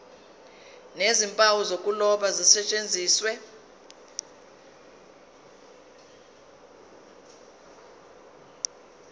nezimpawu zokuloba zisetshenziswe